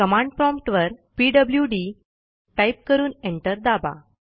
command prompt वर PWD type करून enter दाबा